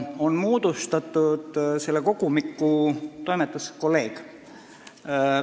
On moodustatud selle kogumiku toimetuskolleegium.